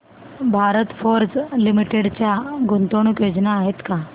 Bharat Forge Limited च्या गुंतवणूक योजना आहेत का